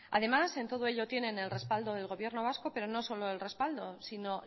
además en todo ello tienen el respaldo del gobierno vasco pero no solo el respaldo sino